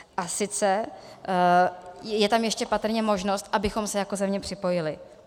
A sice, je tam ještě patrně možnost, abychom se jako země připojili.